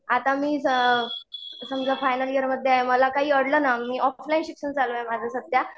आता मी समजा फायनल ईअरमध्ये आहे. मला काही अडलं ना ऑफलाईन शिक्षण चालू आहे माझं सध्या.